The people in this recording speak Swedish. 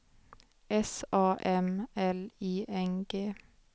S A M L I N G